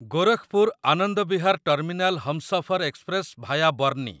Gorakhpur Anand Vihar terminal Humsafar express via ବର୍ଣ୍ଣି